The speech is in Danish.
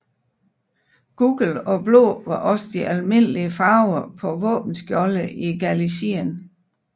Gul og blå var også de almindelige farver på våbenskjolde i Galicien